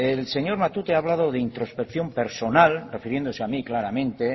el señor matute ha hablado de introspección personal refiriéndose a mí claramente